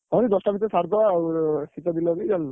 ହଉ ଦଶଟା ଭିତରେ ସାରିଦବା ଆଉ, ଶୀତ ବି ଲାଗିବନି।